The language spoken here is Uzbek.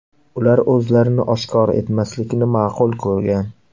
Ular o‘zlarini oshkor etmaslikni ma’qul ko‘rgan.